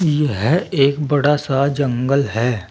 यह एक बड़ा सा जंगल है।